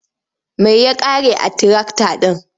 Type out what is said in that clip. Mai ya ƙare a tirakta ɗin.